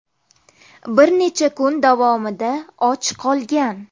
Bir necha kun davomida och qolgan.